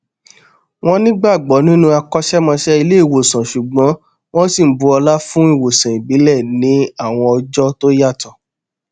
wọn nígbàgbọ nínú akọṣẹmọṣẹ ilé ìwòsàn ṣùgbọn wọn sì bu ọlá fún ìwòsàn ìbílẹ ní àwọn ọjọ tó yàtọ